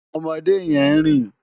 Òmòdé yèn n rin